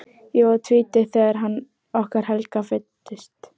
Ég var tvítug þegar sonur okkar Helga fæddist.